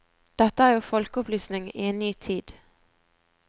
Dette er jo folkeopplysning i en ny tid.